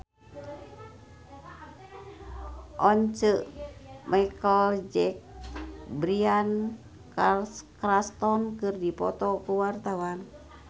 Once Mekel jeung Bryan Cranston keur dipoto ku wartawan